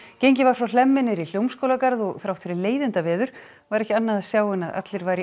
gengið var frá Hlemmi niður í Hljómskálagarð og þrátt fyrir leiðindaveður var ekki annað að sjá en að allir væru í